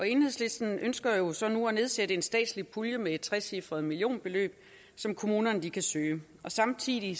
enhedslisten ønsker jo så nu at nedsætte en statslig pulje med et trecifret millionbeløb som kommunerne kan søge samtidig